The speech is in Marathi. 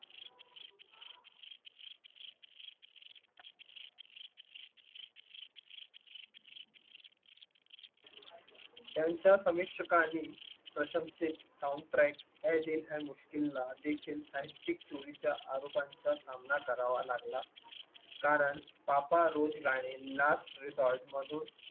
त्यांच्या समीक्षकांनी प्रशंसित Sound Track अइ दिल है मुश्किल ला देखील साहित्यिक चोरी च्या आरोपांचा सामना करावा लागला. कारण पापा रोज गाणे last resort मधून